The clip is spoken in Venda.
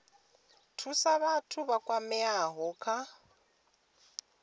thusa vhathu vha kwameaho kha